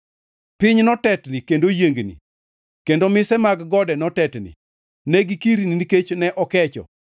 Piny notetni kendo oyiengni; kendo mise mag gode notetni; ne gikirni nikech ne okecho.